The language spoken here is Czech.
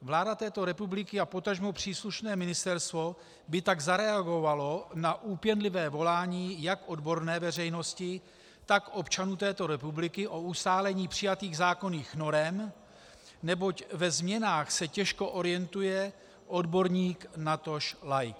Vláda této republiky a potažmo příslušné ministerstvo by tak zareagovaly na úpěnlivé volání jak odborné veřejnosti, tak občanů této republiky o ustálení přijatých zákonných norem, neboť ve změnách se těžko orientuje odborník, natož laik.